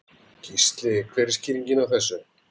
Gísli: Hver er skýringin á þessu?